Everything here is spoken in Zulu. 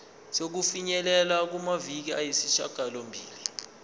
sokufinyelela kumaviki ayisishagalombili